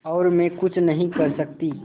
और मैं कुछ नहीं कर सकती